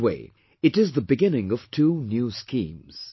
In a way it is the beginning of two new schemes